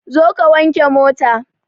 Zo ka wanke mota!